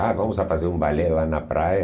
Ah, vamos fazer um balé lá na praia.